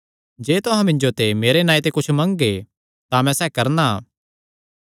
जे तुहां मिन्जो ते मेरे नांऐ ते कुच्छ मंगगे तां मैं सैह़ करणा